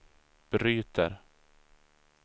bryter